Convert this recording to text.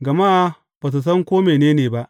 Gama ba su san ko mene ne ba.